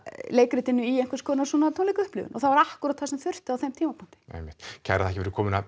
leikritinu í einhvers konar tónleikaupplifun og það var akkúrat það sem þurfti á þeim tímapunkti einmitt kærar þakkir fyrir komuna